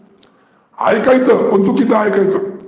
ऐकायचं पण चुकीचं ऐकायचं.